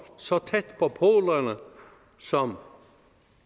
så tæt på polerne som